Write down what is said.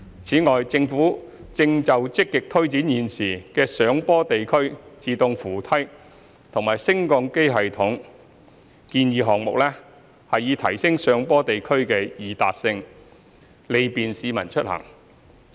此外，政府正就積極推展現時的上坡地區自動扶梯和升降機系統建議項目，以提升上坡地區的易達性，利便市民出行。